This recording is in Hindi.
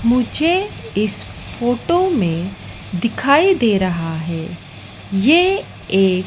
मुझे इस फोटो में दिखाई दे रहा है ये एक--